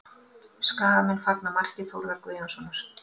Skagamenn fagna marki Þórðar Guðjónssonar